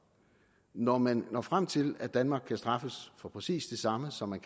når man når frem til at danmark kan straffes for præcis det samme som